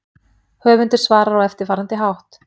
Höfundur svarar á eftirfarandi hátt